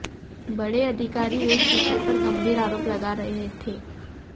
बड़े अधिकारी एक दूसरे पर गंभीर आरोप लगा रहे थे